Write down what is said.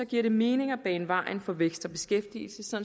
giver det mening at bane vejen for vækst og beskæftigelse